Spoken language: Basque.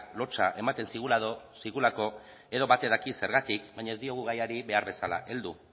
lotsa ematen zigulako edo batek daki zergatik baina ez diogu gaiari behar bezala heldu